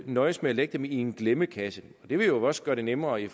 nøjes med at lægge dem i en glemmekasse det vil også gøre det nemmere i